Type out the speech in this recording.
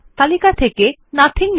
তালিকা থেকে নাথিং নির্বাচন করুন